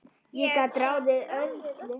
Ég gat ráðið öllu.